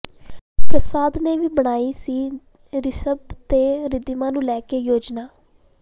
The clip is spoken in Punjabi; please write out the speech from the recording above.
ਪ੍ਰਸਾਦ ਨੇ ਵੀ ਬਣਾਈ ਸੀ ਰਿਸ਼ਭ ਤੇ ਰਿੱਧੀਮਾਨ ਨੂੰ ਲੈ ਕੇ ਯੋਜਨਾ